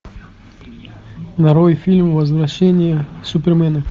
нарой фильм возвращение супермена